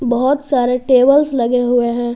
बहुत सारे टेबल्स लगे हुए हैं।